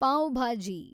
pav bhaji